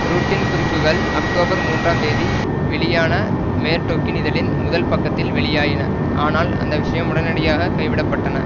ரூட்டின் குறிப்புகள் அக்டோபர் மூன்றாம் தேதி வெளியான மேர்டொக்கின் இதழின் முதல் பக்கத்தில் வெளியாயின ஆனால் அந்த விஷயம் உடனடியாக கைவிடப்பட்டன